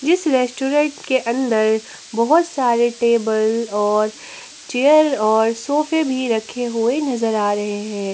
जिस रेस्टोरेंट के अंदर बहुत सारे टेबल और चेयर और सोफ़े भी रखे होए नजर आ रहे है।